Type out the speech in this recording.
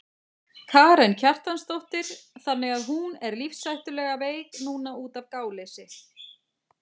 Karen Kjartansdóttir: Þannig að hún er lífshættulega veik núna útaf gáleysi?